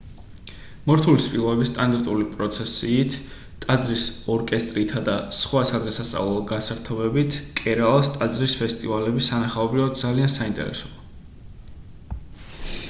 მორთული სპილოების სტანდარტული პროცესიით ტაძრის ორკესტრითა და სხვა სადღესასწაულო გასართობებით კერალას ტაძრის ფესტივალები სანახაობრივად ძალიან საინტერესოა